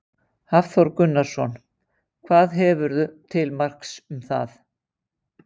Hafþór Gunnarsson: Hvað hefurðu til marks um það?